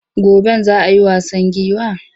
Goben za a yi wasan giwa?